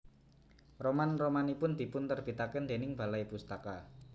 Roman romanipun dipun terbitaken déning Balai Pustaka